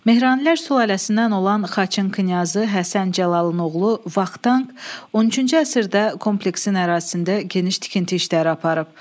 Mehranilər sülaləsindən olan Xaçın knyazı Həsən Cəlalın oğlu Vaqtan 13-cü əsrdə kompleksin ərazisində geniş tikinti işləri aparıb.